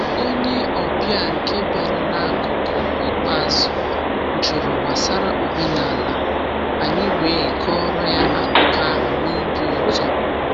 Onye ọbịa nke bịara n’akụkụ ikpeazụ jụrụ gbasara omenala, anyị wee kọọrọ ya akụkọ ahụ na obi ụtọ.